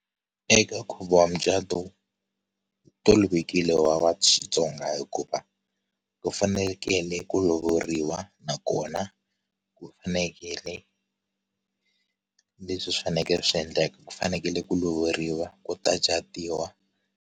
Eka nkhuvo wa mucatu wu tovekile wa va vatsonga hikuva ku fanekele ku lovoriwa nakona ku fanekele leswi swi fanekele swi endlaka ku fanekele ku lovoriwa ku ta catiwa.